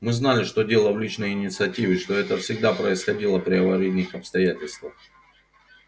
мы знали что дело в личной инициативе что это всегда происходило при аварийных обстоятельствах